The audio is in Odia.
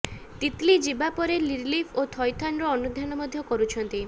ତିତ୍ଲି ଯିବା ପରେ ରିଲିଫ ଓ ଥଇଥାନର ଅନୁଧ୍ୟାନ ମଧ୍ଯ କରୁଛନ୍ତି